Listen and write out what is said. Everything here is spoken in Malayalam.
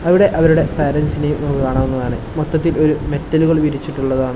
അവിടെ അവരുടെ പേരൻസിനെ നമുക്ക് കാണാവുന്നതാണ് മൊത്തത്തിൽ ഒരു മെറ്റലുകൾ വിരിച്ചിട്ടുള്ളതാണ്.